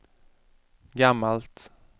gammalt